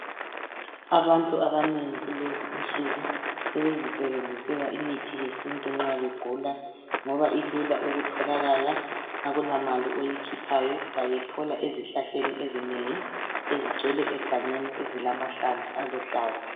Abantu abanengi kulezinsuku sebezisebenzisela imithi yesintu nxa begula ngoba ilula ukutholakala akulamali oyikhuphayo bayithola ezihlahleni ezinengi ezigcwele egangeni ezilahlamvu aluhlaza